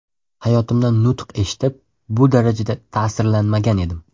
Hayotimda nutq eshitib, bu darajada ta’sirlanmagan edim.